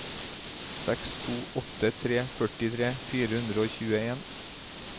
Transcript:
seks to åtte tre førtifire fire hundre og tjueen